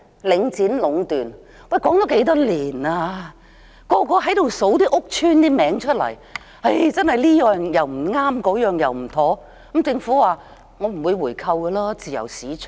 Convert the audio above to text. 領展壟斷的問題已討論多年，每個人都說出屋邨的名稱，指出這樣不對，那樣不妥，但政府說不會回購，因為是自由市場。